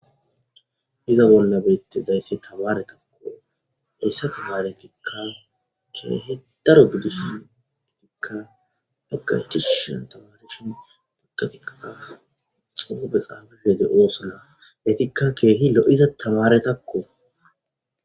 Iza bolnabette zaysse kabaaretakko eyssa tamare tikka keehi daro buddusin etikka haqa hitusu shan tamareshin buddatiqaa xuope xaafaheede oosona letikka keehi lo'iza tamaretakko.